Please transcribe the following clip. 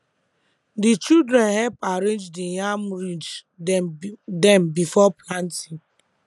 di children help arrange di yam ridge dem before planting